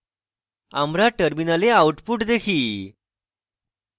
আমরা terminal output দেখি